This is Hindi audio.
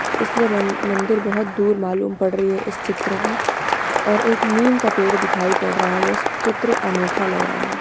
इसलिए मं मंदिर बोहत दूर मालूम पड़ रही है इस चित्र में। और एक नीम का पेड़ दिखाई पड़ रहा है इस यह चित्र अनोखा लग रहा है।